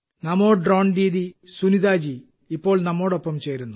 നമോ drone Didi Sunita ji ഇപ്പോൾ നമ്മോടൊപ്പം ചേരുന്നു